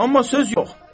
Amma söz yox!